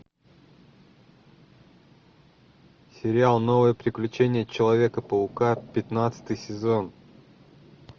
сериал новое приключение человека паука пятнадцатый сезон